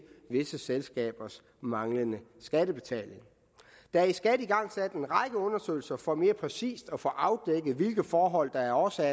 visse selskabers manglende skattebetaling der er af skat igangsat en række undersøgelser for mere præcist at få afdækket hvilke forhold der er årsag